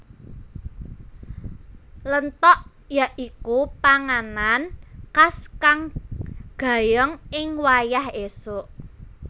Lentog ya iku panganan khas kang gayeng ing wayah esuk